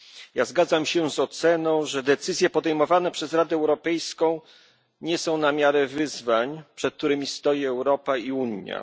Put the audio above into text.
Ja zgadzam się z oceną, że decyzje podejmowane przez Radę Europejską nie są na miarę wyzwań, przed którymi stoi Europa i Unia.